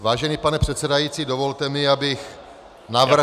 Vážený pane předsedající, dovolte mi, abych navrhl -